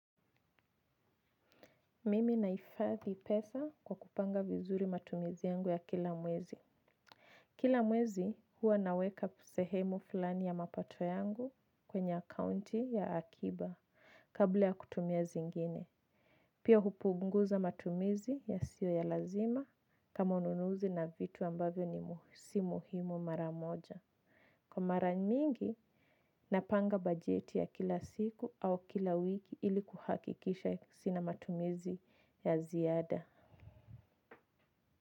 Mimi nahifatdi pesa kwa kupanga vizuri matumizi yangu ya kila mwezi. Kila mwezi huwa naweka sehemu fulani ya mapato yangu kwenye accounti ya akiba kabla ya kutumia zingine. Pia hupunguza matumizi yasio ya lazima kama ununuzi na vitu ambavyo ni si muhimu mara moja. Kwa mara mingi napanga bajeti ya kila siku au kila wiki ili kuhakikisha sina matumizi ya ziada.